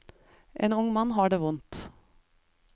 En ung mann har det vondt.